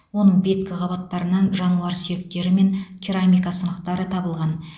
оның беткі қабаттарынан жануар сүйектері мен керамика сынықтары табылған